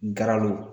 Garalo